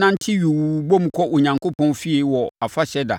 nante yuu bom kɔ Onyankopɔn fie wɔ afahyɛ da.